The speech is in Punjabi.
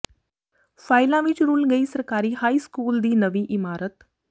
ਫਾਈਲਾਂ ਵਿੱਚ ਰੁਲ ਗਈ ਸਰਕਾਰੀ ਹਾਈ ਸਕੂਲ ਦੀ ਨਵੀਂ ਇਮਾਰਤ